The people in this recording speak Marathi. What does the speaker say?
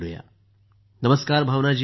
मोदी जीः नमस्कार भावना जी